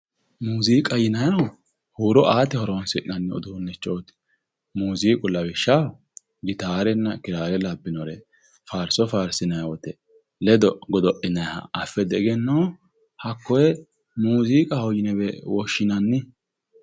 Muziiqa yinnanihu huuro aate horonsi'nanni uduunichoti ,muziiqu lawishshaho gitarenna kirare labbinoreti faarso faarisinanni woyte ledo godo'linanniha affe diegenootto ? hakkoe muziiqahowe yinne woshshinanni.